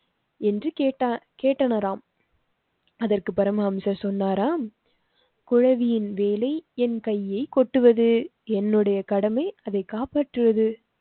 என்று கேட்டனாராம் அதற்கு பரமஹம்சர் சொன்னாராம் குழவியின் வேலை என் கையை கொட்டுவது என்னுடைய கடமை அதைக் காப்பாற்றுவது